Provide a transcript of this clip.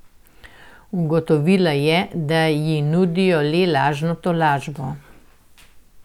Ugotovila je, da ji nudijo le lažno tolažbo.